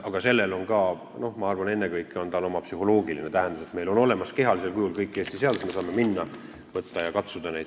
Aga sellel on, ma arvan, ennekõike psühholoogiline tähendus, et meil on kehalisel kujul olemas kõik Eesti seadused, me saame minna, võtta ja neid katsuda.